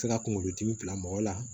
Tɛ se ka kunkolo dimi bila mɔgɔ la